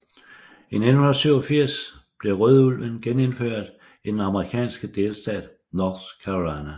I 1987 blev rødulven genindført i den amerikanske delstat North Carolina